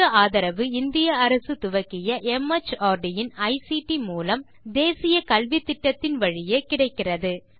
இதற்கு ஆதரவு இந்திய அரசு துவக்கிய மார்ட் இன் ஐசிடி மூலம் தேசிய கல்வித்திட்டத்தின் வழியே கிடைக்கிறது